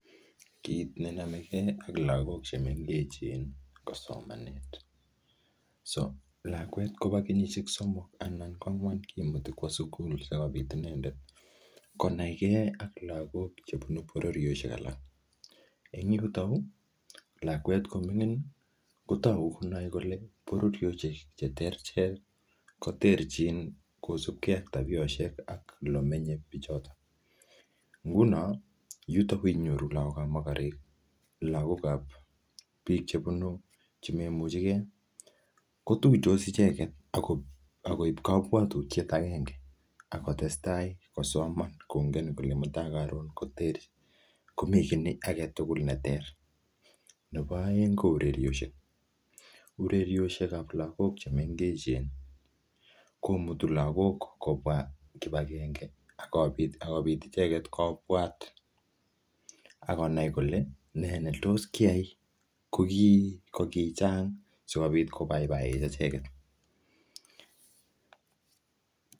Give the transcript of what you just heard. Kit nenomekee ak lagok chemengechen kosomanet so lakwet kobo kenyishek somok anan kwangwan kimuti kwo sugul sikobit inendet konai kee ak lagok chebo bororioshek alak, en yuto yu lakwet komingin kotor konoe kole bororioshek ichechu cheterterjin kosibkee ak tabioshek ak olemenye, nguno yuto kokoinyoru lagokab mokorek ii ak bik chebunu chemoimuchekee kotuitos icheket ak koib kokwoutiet agenge ak kotestaa kosoman kongen kole mutai koron koter komi kit aketugul neter, nebo oeng kourerioshek urerioshekab lagok chemengechen komutu lagok kobwa kipagenge akobit icheket kobwat ak konai kole nee netos kiyai kokichang sikobit kobaibae echeket.